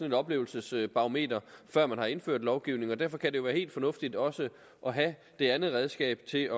et oplevelsesbarometer før man har indført en lovgivning og derfor kan det jo være helt fornuftigt også at have det andet redskab til at